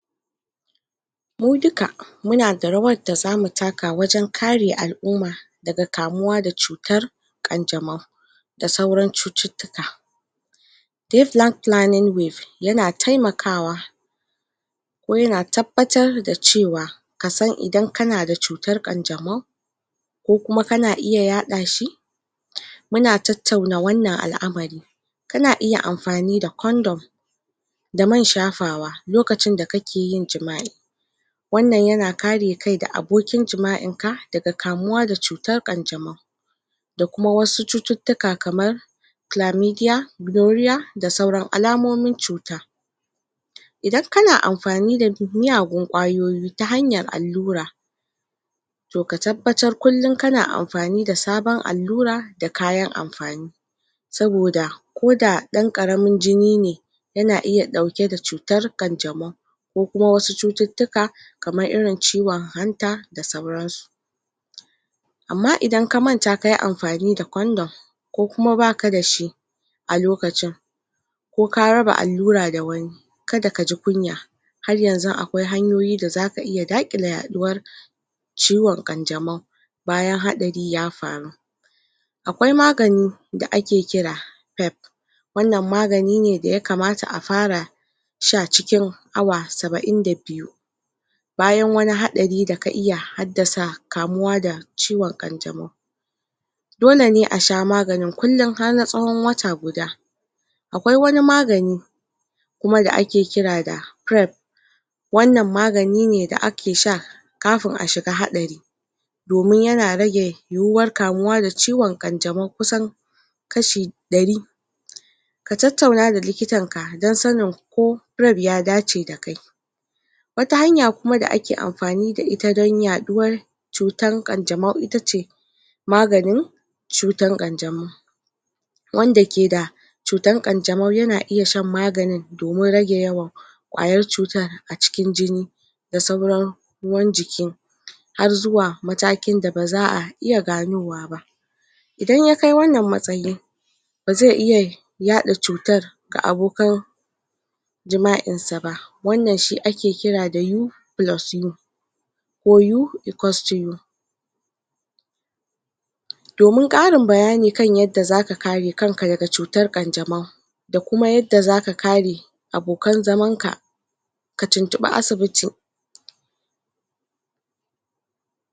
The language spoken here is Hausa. mu duka muna da rawar da zamu taka wajan kare al'uma daga kamuwa da cutar ƙan jamau da sauran cututtuka deep plan planing waves yana taimakawa ko yana tabbatar da cewa kasan idan akana da cutar ƙan jamau ko kuma kana iya ya ɗashi muna tattauna wannan al'amari kana iya amfani da condom ko man shafawa lokacin da kake jima'i wannan yana kare kai da abokin jima'inka daga kamuwa da cutar ƙan jamau da kuma wasu cututtuka kamar glamidia gloria da sauran alamomin cuta idan kana amfani da muyagun ƙwayoyi ta hanyar allura to ka tabbatar kullin kana amfani da saban allura da kayan amfani saboda ko da ɗan ƙaramin jini ne yana iya ɗauke da cutar ƙan jamau ko kuma wasu cututtuka kamar irin ciwan hanta da sauransu amma idan ka manta kayi amfani da condom ko kuma baka dashi a lukacin ko ka raba allura da wani kada kaji kunya har yanzu aƙwai hanyoyi da zaka iya daƙile ya ɗuwar ciwan ƙan jamau bayan haɗari ya faru aƙwai magan da ake kira pep wannan magani ne daya kamata a farai sha cikin awa saba'in da biyu bayan wani haɗari da ka iya haddasa kamuwa da ciwan ƙan jamau dole ne a sha maganin kullin har na tsawan wata guda aƙwai wani magani kuma da ake kira da crap wannan magani ne da ake sha kafin a shiga haɗari domin yana rage yuwuwar kamuwa da ciwan ƙan jamau kusan kashi ɗarii ka tattauna da likitanka dan sanin ko rep ya dace da kai wata hanya kuma da ake amfani da ita dan ya ɗuwar cutar ƙan jamau itace maganin cutan ƙan jamau wanda ke da cutan ƙan jamau yana iya shan magani domin rage yawan ƙwayar cutar a cikin jini da sauran ruwan jiki har zuwa matakin da baza a iya gano wa ba idan ya kai wannan matsayii bazai iya yaɗa cutar ga abokan jima'insa ba wannan shi ake kira da U plus U KO u ikosto U domin ƙarin bayani kan yadda zaka kare kanka daga cutar ƙan jamau da kuma yadda zaka kare abokan zamanka ka tuntuɓi asibiti